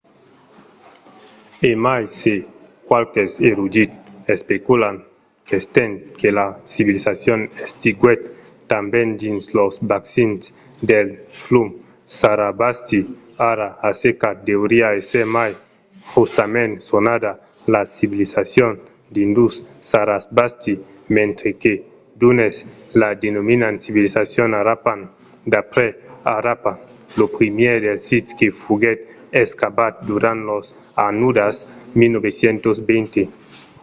e mai se qualques erudits especulan qu'estent que la civilizacion existiguèt tanben dins los bacins del flum sarasvati ara assecat deuriá èsser mai justament sonada la civilizacion indus-sarasvati mentre que d’unes la denominan civilizacion harappan d'après harappa lo primièr dels sits que foguèt excavat durant las annadas 1920